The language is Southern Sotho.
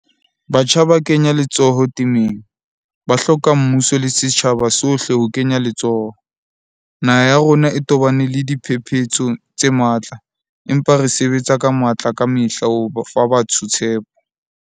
Batjha ba kenya letsoho temeng, ba hloka mmuso le setjhaba sohle ho kenya letsoho. Naha ya rona e tobane le diphephetso tse matla, empa re sebetsa ka matla kamehla ho fa batho tshepo.